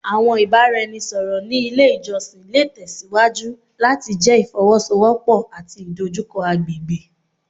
Awọn ibaraẹnisọrọ ni ile ijọsin le tẹsiwaju lati jẹ ifowosowopo ati idojukọ agbegbe